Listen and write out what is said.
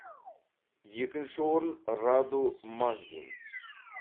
екінші орын раду магдин